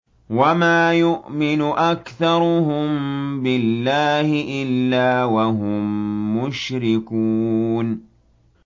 وَمَا يُؤْمِنُ أَكْثَرُهُم بِاللَّهِ إِلَّا وَهُم مُّشْرِكُونَ